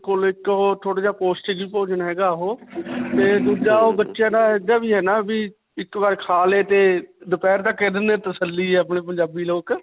ਬਿਲਕੁਲ. ਇੱਕ ਓਹ ਥੋੜਾ ਜਿਹਾ ਪੌਸ਼ਟਿਕ ਭੋਜਨ ਹੈਗਾ ਓਹੋ, ਤੇ ਦੂਜਾ ਓਹ ਬੱਚਿਆਂ ਦਾ ਵੀ ਇੱਕ ਬਾਰ ਖਾ ਲੇ ਤੇ ਦੋਪਿਹਰ ਤੱਕ ਤੱਸਲੀ ਹੈ ਆਪਣੇ ਪੰਜਾਬੀ ਲੋਕ.